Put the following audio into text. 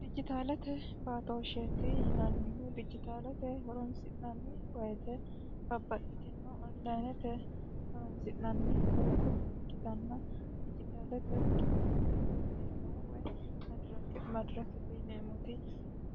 dijitaalate baatooshsheetti yinannihu dijitaalate horonsi'nanni wayite babbaxxitino onlayinete horonsi'nanni doogo ikkitanna dijitaalete kiffiyya r way madiraki yineemmoti